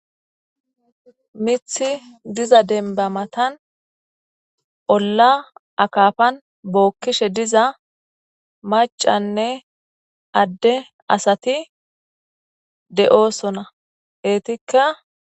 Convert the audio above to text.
mithi diza denba matan olla akafan bookkishe diza macanne adde asati de'osona, etika..